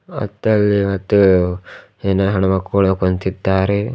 ಮತ್ತೆ ಅಲ್ಲಿ ಮತ್ತು ಏನ ಹೆಣ್ ಮಕ್ಕಳು ಕುಂತಿದ್ದಾರೆ.